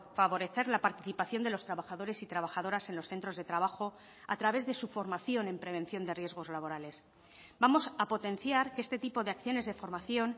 favorecer la participación de los trabajadores y trabajadoras en los centros de trabajo a través de su formación en prevención de riesgos laborales vamos a potenciar que este tipo de acciones de formación